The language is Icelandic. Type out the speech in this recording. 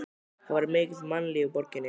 Það var mikið mannlíf í borginni.